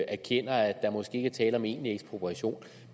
erkender at der måske ikke er tale om egentlig ekspropriation